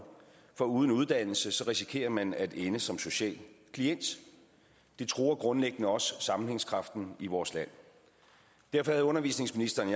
for uden uddannelse risikerer man at ende som social klient det truer grundlæggende også sammenhængskraften i vores land derfor havde undervisningsministeren